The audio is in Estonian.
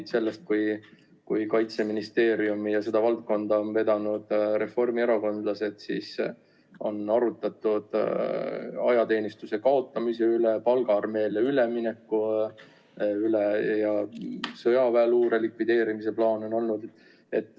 Kui meile meenuvad varasemad ajad, kui Kaitseministeeriumi ja seda valdkonda on vedanud reformierakondlased, siis on arutatud ajateenistuse kaotamise üle, palgaarmeele ülemineku üle ja ka sõjaväeluure likvideerimise plaan on olnud.